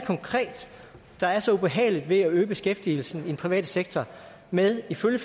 konkret der er så ubehageligt ved at øge beskæftigelsen i den private sektor med ifølge